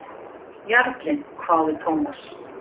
Jarlinn? hváði Thomas.